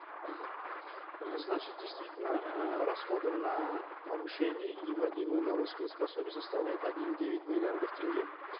мхм э значит действительно э расходы на повышение и вводимые новые спец пособия составляют один и девять миллиардов тенге